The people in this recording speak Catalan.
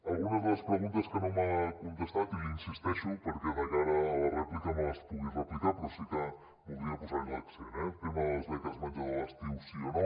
algunes de les preguntes que no m’ha contestat i hi insisteixo perquè de cara a la rèplica me les pugui replicar però sí que voldria posarhi l’accent eh el tema de les beques menjador a l’estiu sí o no